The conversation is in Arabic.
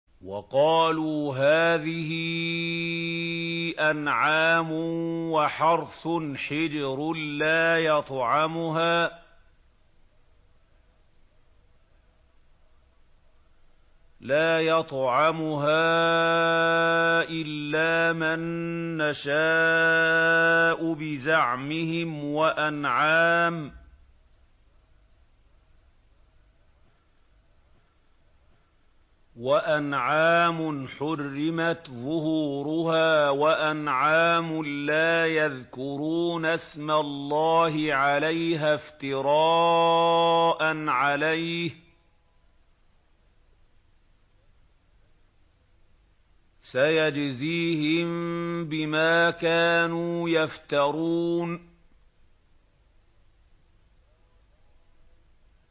وَقَالُوا هَٰذِهِ أَنْعَامٌ وَحَرْثٌ حِجْرٌ لَّا يَطْعَمُهَا إِلَّا مَن نَّشَاءُ بِزَعْمِهِمْ وَأَنْعَامٌ حُرِّمَتْ ظُهُورُهَا وَأَنْعَامٌ لَّا يَذْكُرُونَ اسْمَ اللَّهِ عَلَيْهَا افْتِرَاءً عَلَيْهِ ۚ سَيَجْزِيهِم بِمَا كَانُوا يَفْتَرُونَ